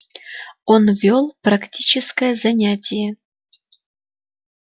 он вёл практическое занятие